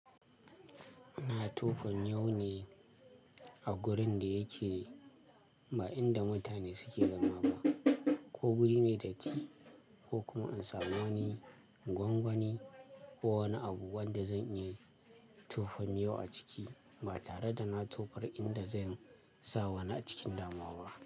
Na tofa miyau ne a gurin da yake ba inda mutane suke zama ba ko guri mai datti ko kuma in samu wani gwangwani ko wani abu wanda zan iya tofan miyau a ciki ba tare da na tofar inda zan sa wani a cikin damuwa ba.